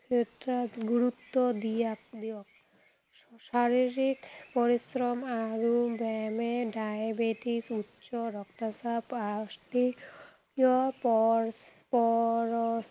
ক্ষেত্ৰত গুৰুত্ব দিয়াক, দিয়ক। শাৰীৰিক পৰিশ্ৰম আৰু ব্যায়ামে diabetes, উচ্চ ৰক্তচাপ, osteoporosis